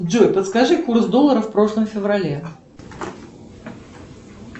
джой подскажи курс доллара в прошлом феврале